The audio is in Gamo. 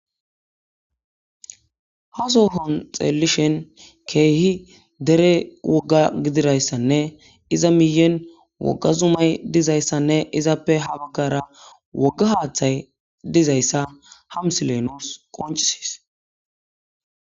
Ha sohoni xeelishshin kehi dere wogga gididayisanne iza miyeni wogga zumayi dizayisanne izappe haa bagara woga haaththayi dizayisa ha misileyi nusi besesi